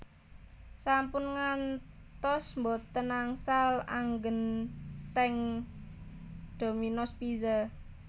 Sampun ngantos mboten angsal anggen teng Dominos Pizza